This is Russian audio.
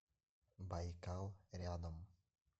байкал рядом